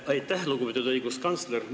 Aitäh, lugupeetud õiguskantsler!